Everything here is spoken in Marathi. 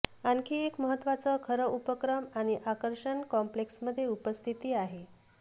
आणखी एक महत्त्वाचा खरं उपक्रम आणि आकर्षण कॉम्पलेक्स मध्ये उपस्थिती आहे